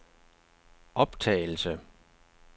optagelse